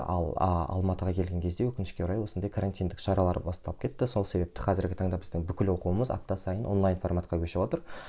ал алматыға келген кезде өкінішке орай осындай карантиндік шаралар басталып кетті сол себепті қазіргі таңда біздің бүкіл оқуымыз апта сайын онлайн форматқа көшіп отыр